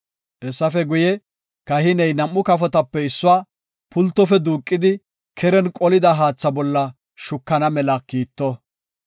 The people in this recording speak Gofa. Hessafe guye, kahiney nam7u kafotape issuwa pultofe duuqidi keren qolida haatha bolla shukana mela kiitto.